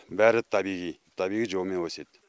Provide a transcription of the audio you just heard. бәрі табиғи табиғи жолмен өседі